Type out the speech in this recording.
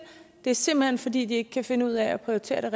det er simpelt hen fordi de ikke kan finde ud af at prioritere